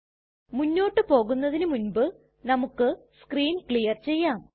മുന്നോട്ട് പോകുന്നതിനു മുൻപ് നമുക്ക് സ്ക്രീൻ ക്ലിയർ ചെയ്യാം